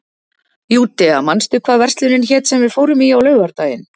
Júdea, manstu hvað verslunin hét sem við fórum í á laugardaginn?